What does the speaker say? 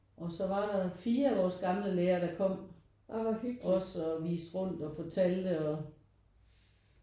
Og så var der 4 af vores gamle lærer der kom også og viste rundt og fortalte og